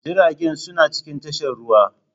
Jiragen suna cikin tashar ruwa.